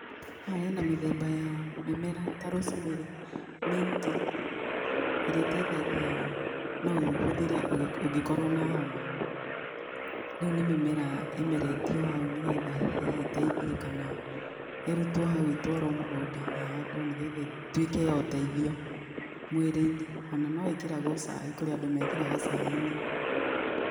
Haha hena mĩthemba ya mĩmera ta Rose Mary minti, ĩrĩa ĩtaithagia, no ũhũthĩre ũngĩkorwo na homa. Rĩu nĩ mĩmera ĩmeretio hau nĩgetha hihi ĩtaithie, kana ĩrutwo hau ĩtwarwo mũgũnda ĩhandwo nĩgetha ĩtuĩke ya ũteithio mwĩ-inĩ, ona noĩkĩragwo cai, kũrĩ andũ mekĩraga caai-inĩ.